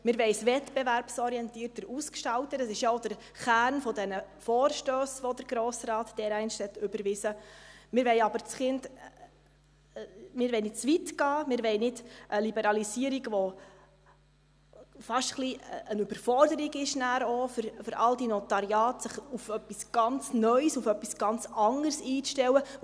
Wir wollen es wettbewerbsorientierter ausgestalten – das ist ja auch der Kern der Vorstösse, die der Grosse Rat dereinst überwiesen hat –, wir wollen aber nicht zu weit gehen, wir wollen keine Liberalisierung, die dann auch fast ein bisschen eine Überforderung für die Notariate wäre, die sich auf etwas ganz Neues, ganz anderes einstellen müssten.